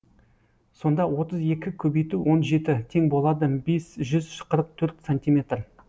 сонда отыз екі көбейту он жеті тең болады бес жүз қырық төрт сантиметр